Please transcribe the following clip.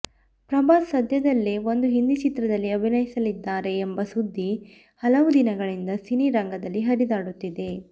ಪ್ರಭಾಸ್ ಸದ್ಯದಲ್ಲೇ ಒಂದು ಹಿಂದಿ ಚಿತ್ರದಲ್ಲಿ ಅಭಿನಯಿಸಲಿದ್ದಾರೆ ಎಂಬ ಸುದ್ದಿ ಹಲವು ದಿನಗಳಿಂದ ಸಿನಿ ರಂಗದಲ್ಲಿ ಹರಿದಾಡುತ್ತಿದೆ